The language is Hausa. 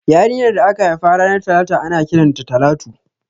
Yarinyar da aka haifa ranar talata ana kiran ta Talatu